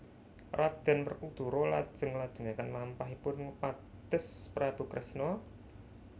Raden Werkudara lajeng nglajengaken lampahipun ngupados Prabu Kresna